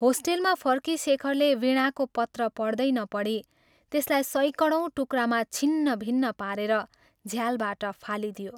होस्टेलमा फर्की शेखरले वीणाको पत्र पढ्दै नपढी त्यसलाई सयकडौँ टुक्रामा छिन्नभिन्न पारेर झ्यालबाट फालिदियो।